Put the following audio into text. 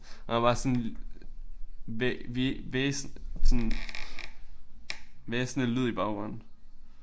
Og der var sådan sådan hvæsende lyd i baggrunden